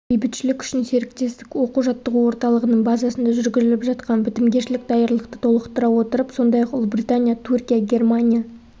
бейбітшілік үшін серіктестік оқу-жаттығу орталығының базасында жүргізіліп жатқан бітімгершілік даярлықты толықтыра отырып сондай-ақ ұлыбритания түркия германия